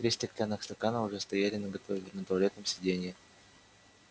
три стеклянных стакана уже стояли наготове на туалетном сиденье